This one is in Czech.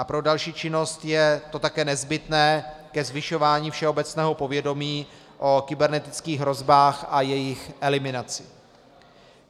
A pro další činnost je to také nezbytné ke zvyšování všeobecného povědomí o kybernetických hrozbách a jejich eliminaci.